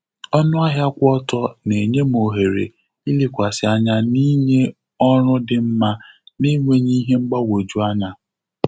Ọnụ ahịa kwụ ọtọ na-enye m òhèrè ilekwasi anya na-inye ọrụ dị mma na-enweghị ihe mgbagwoju anya.